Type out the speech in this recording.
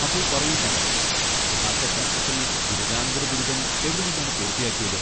അപ്പോൾ പറയൂ കങ്കണ, ഭാഷാശാസ്ത്രത്തിൽ ബിരുദാനന്തര ബിരുദം എവിടെ നിന്നാണ് പൂർത്തിയാക്കിയത്?